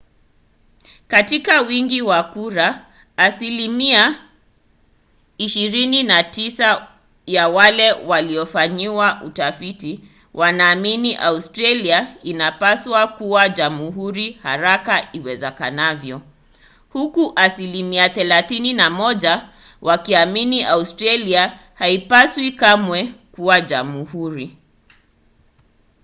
katika wingi wa kura asilimia 29 ya wale waliofanyiwa utafiti wanaamini australia inapaswa kuwa jamhuri haraka iwezekanavyo huku asilimia 31 wakiamini australia haipaswi kamwe kuwa jamhuri